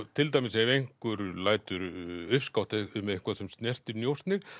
til dæmis ef einhver lætur uppskátt um eitthvað sem snertir njósnir